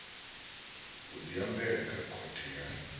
u diambela kha khothe ya